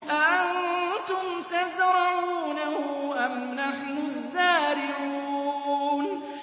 أَأَنتُمْ تَزْرَعُونَهُ أَمْ نَحْنُ الزَّارِعُونَ